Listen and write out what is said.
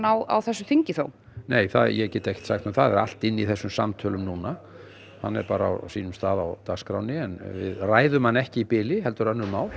á þessu þingi þó ég get ekkert sagt um það það er allt inni í þessum samtölum núna hann er bara á sínum stað á dagskránni en við ræðum hann ekki í bili heldur önnur mál